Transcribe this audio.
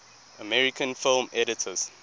american film editors